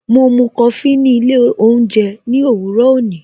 Mo mú Kofi ni ilé oúnjẹ ní òwúrò òní